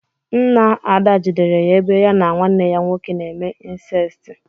Ńnà Ada jidere ya ebe ya na nwanne ya nwoke na eme incesti.